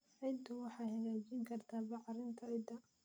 Ciiddu waxay hagaajin kartaa bacrinta ciidda.